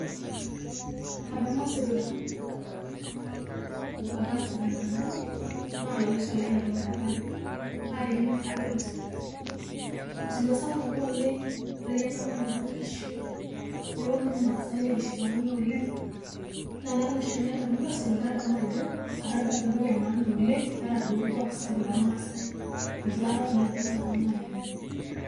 Adamu osirua otaase tenkang ang na olalashe lai etumurataki, marikino aikata ilo sirua ,osirua sapuk apa oleng, eteyianga apa mpapa nkishu neponu irmaasai nikishipakino oleng, na anaton oshiake nadamu ilo sirea nadamu ajo atadua apa entoki emaana oleng ataa duo orkuak sapuk lormaasai itu aikata nanu adol anaa paini.